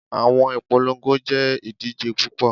Awọn ipolongo jẹ idije pupọ